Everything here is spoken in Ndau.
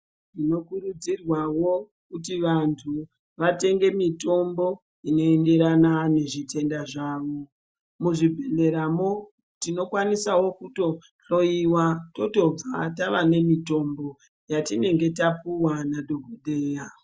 Tinokurudzirwawo kuti vantu vatenge mitombo inoenderana nezvitenda zvavo. Muzvibhedhlera mwo, tinokwanisawo kutonhloiwa totobva tave nemitombo yatinenge tapuwa nadhokodheya.